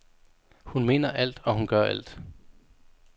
Hun mener alt, og hun gør alt.